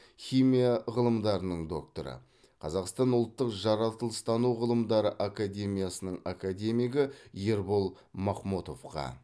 химия ғылымдарының докторы қазақстан ұлттық жаратылыстану ғылымдары академиясының академигі ербол махмотовқа